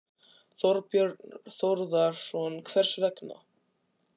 Þorbjörn Þórðarson: Hvers vegna?